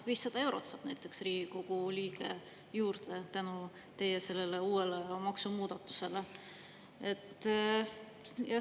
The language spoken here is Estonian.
500 eurot saab näiteks Riigikogu liige juurde tänu teie uuele maksumuudatusele.